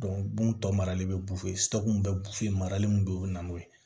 bon tɔ marali bɛ bɛ marali min bɛ yen o bɛ na n'o ye